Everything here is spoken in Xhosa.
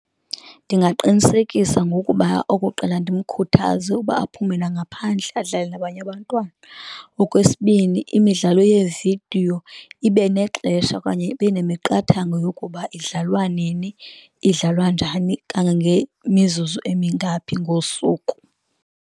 Ndingaqinisekisa ngokuba okokqala ndimkhuthaze ukuba aphume nangaphandle adlale nabanye abantwana. Okwesibini, imidlalo yeevidiyo ibe nexesha okanye ibe nemiqathango yokuba idlalwa nini, idlalwa njani, kangangemizuzu emingaphi ngosuku.